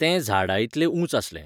तें झाडा इतलें उंच आसलें.